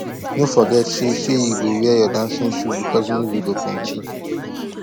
no forget sey you sey you go wear your dancing shoe bicos music go plenty